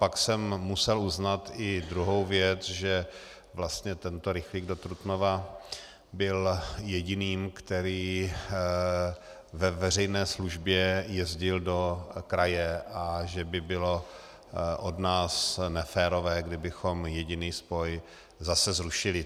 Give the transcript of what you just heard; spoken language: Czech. Pak jsem musel uznat i druhou věc, že vlastně tento rychlík do Trutnova byl jediným, který ve veřejné službě jezdil do kraje, a že by bylo od nás neférové, kdybychom jediný spoj zase zrušili.